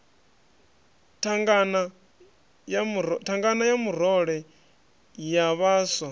thangana ya murole ya vhaswa